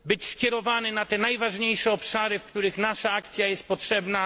skierowany na te najważniejsze obszary, w których nasza akcja jest potrzebna.